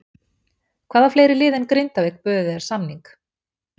Hvaða fleiri lið en Grindavík buðu þér samning?